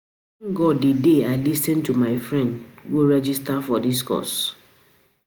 I thank God the day I lis ten to my friend go register for dis course